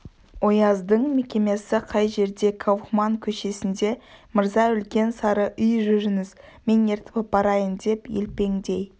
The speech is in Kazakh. ояздың мекемесі қай жерде кауфман көшесінде мырза үлкен сары үй жүріңіз мен ертіп апарайын деп елпеңдей